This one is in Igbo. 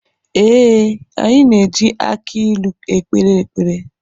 Ee, anyị na eji aki ilu ekpere ekpere.